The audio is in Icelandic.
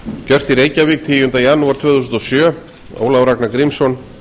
gjört í reykjavík tíunda janúar tvö þúsund og sjö ólafur ragnar grímsson